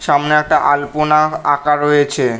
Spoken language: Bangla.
সামনে একটা আলপোনা আঁকা রয়েছে।